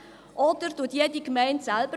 Oder bestimmt jede Gemeinde selber?